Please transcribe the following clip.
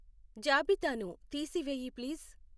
జాబితాను తీసివేయి ప్లీజ్ .